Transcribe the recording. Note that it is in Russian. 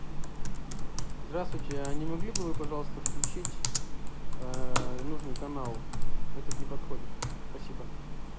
здравствуйте а не могли бы вы пожалуйста включить нужный канал этот не подходит спасибо